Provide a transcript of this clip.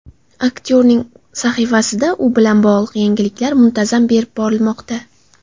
Aktyorning sahifasida u bilan bog‘liq yangiliklar muntazam berib borilmoqda.